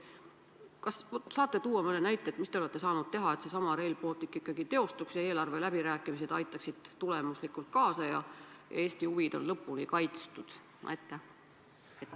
Kas saate tuua mõne näite, mida te olete saanud teha, et Rail Baltic ikkagi teostuks, et eelarveläbirääkimised aitaksid sellele tulemuslikult kaasa ja Eesti huvid oleks lõpuni kaitstud?